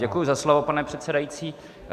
Děkuji za slovo, pane předsedající.